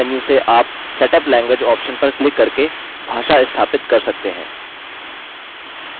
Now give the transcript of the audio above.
आंतरिक मेन्यू से आप setup language आप्शन पर क्लिक करके भाषा स्थापित कर सकते हैं